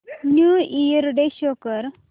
new year day show कर